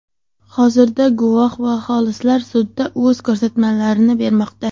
Hozirda, guvoh va xolislar sudda o‘z ko‘rsatmalarini bermoqda.